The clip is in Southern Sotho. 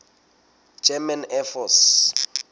german air force